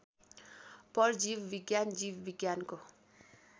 परजीवविज्ञान जीव विज्ञानको